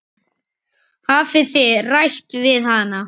Hafið þið rætt við hann?